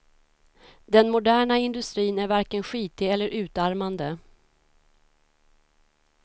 Den moderna industrin är varken skitig eller utarmande.